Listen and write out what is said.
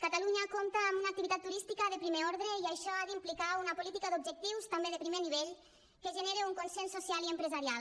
catalunya compta amb una activitat turística de primer ordre i això ha d’implicar una política d’objectius també de primer nivell que generi un consens social i empresarial